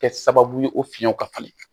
Kɛ sababu ye o fiyɛnw ka falen